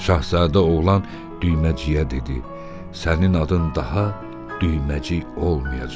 Şahzadə oğlan düyməciyə dedi: Sənin adın daha düyməcik olmayacaq.